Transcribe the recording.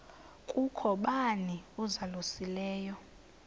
kukho bani uzalusileyo